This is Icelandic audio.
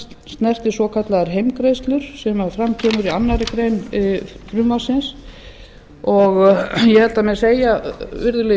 snertir svokallaðar heimgreiðslur sem fram kemurkoma í annarri grein frumvarpsins ég held að það megi segja virðulegi